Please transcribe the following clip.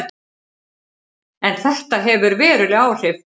En þetta hefur veruleg áhrif.